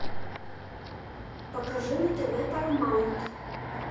покажи на тв парамаунт